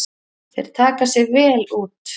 Þeir taka sig vel út.